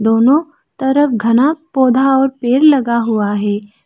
दोनों तरफ घना पौधा और पेड़ लगा हुआ है।